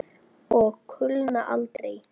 Og kulna aldrei.